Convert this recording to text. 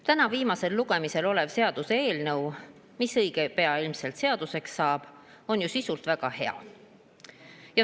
Täna viimasel lugemisel olev seaduseelnõu, mis õige pea ilmselt seaduseks saab, on ju sisult väga hea.